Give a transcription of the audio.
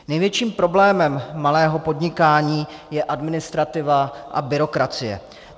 Největším problémem malého podnikání je administrativa a byrokracie.